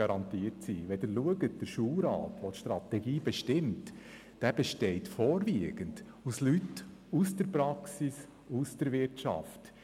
Der Schulrat, der die Strategie bestimmt, besteht vorwiegend aus Leuten aus der Praxis und aus der Wirtschaft.